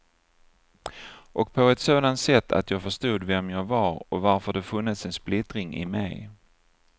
Och på ett sådant sätt att jag förstod vem jag var och varför det funnits en splittring i mig.